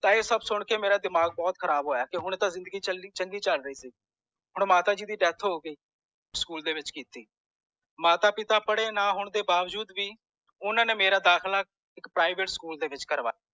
ਇਹ ਸਬ ਸੁਨ ਕੇ ਮੇਰਾ ਦਿਮਾਗ ਬੋਤਾ ਖਰਾਬ ਹੋਇਆ ਕਿ ਹੁਣੇ ਤਾਂ ਜ਼ਿੰਦਗੀ ਚੰਗੀ ਚਲ ਰੀ ਸੀ ਹੁਣ ਮਾਤਾ ਜੀ ਦੀ death ਹੋਗਈ school ਦੇ ਵਿਚ ਕੀਤੀ ਮਾਤਾ ਪਿਤਾ ਪੜੇ ਨਾ ਹੋਣ ਤੌਂ ਬਾਵਜੂਦ ਵੀ ਓਹਨਾ ਨੇ ਮੇਰਾ ਦਾਖਲਾ private school ਦੇ ਵਿਚ ਕਰਵਾਇਆ